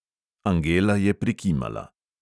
Angela je prikimala.